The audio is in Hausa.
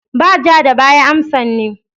Ba ja da baya amsan ne.